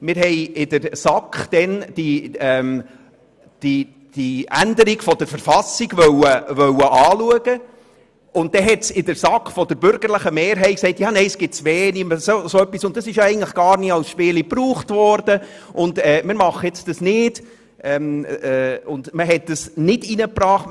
Wir wollten in der SAK die Änderung der KV anschauen, und dann hat die bürgerliche Mehrheit in der SAK gesagt, es gebe zu wenig her, das sei gar nie als Spiel verwendet worden, und deshalb hat man das nicht eingebracht.